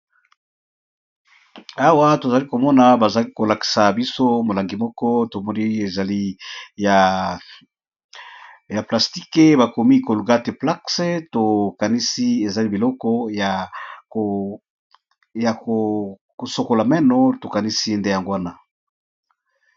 Awa tozali komona bazali ko lakisa biso molangi moko tomoni ezali ya plastique bakomi colgate plax, tokanisi ezali biloko ya ko sokola meno to kanisi nde yango wana.